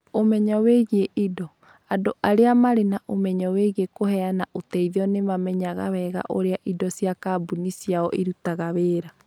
Ũmenyo wĩgiĩ indo: Andũ arĩa marĩ na ũmenyo wĩgiĩ kũheana ũteithio nĩ mamenyaga wega ũrĩa indo cia kambuni ciao irutaga wĩra.